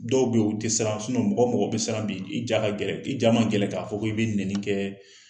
Dɔw bɛ u tɛ siran nmɔgɔ mɔgɔ bɛ siran bi i ja ka gɛlɛn i ja man gɛlɛn k'a fɔ ko i bɛ neni kɛ